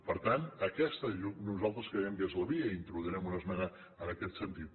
per tant aquesta nosaltres creiem que és la via i introduirem una esmena en aquest sentit